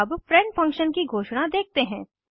अब friend function की घोषणा देखते हैं